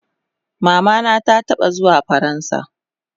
Mama na ta taba zuwa faransa